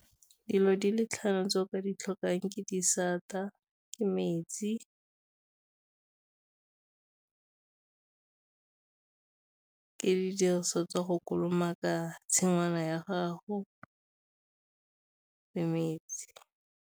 Dilo di le tlhano tse o ka ditlhokang ke di santa, ke metsi, le diriswa tsa go kolomaka tshingwana ya gago le metsi.